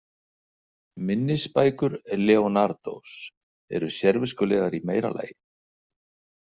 Minnisbækur Leonardós eru sérviskulegar í meira lagi.